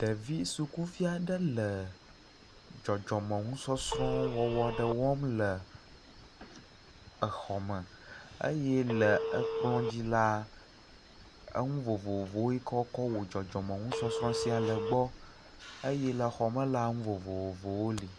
Ɖevi sukuvi aɖe le dzɔdzɔme nusɔsrɔ̃ wɔwɔ aɖe wɔm le exɔ me eye le ekplɔ dzi la, enu vovovo yike wokɔ wɔ dzɔdzɔme nusɔsrɔ̃ sia le gbɔ eye le xɔ me la, nu vovovowo li.